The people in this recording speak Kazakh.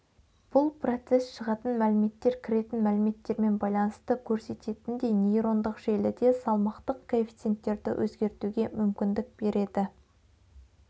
бұл процесс шығатын мәліметтер кіретін мәліметтермен байланысты көрсететіндей нейрондық желіде салмақтық коэффициенттерді өзгертуге мүмкіндік береді